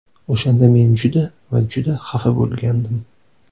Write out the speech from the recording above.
O‘shanda men juda va juda xafa bo‘lgandim.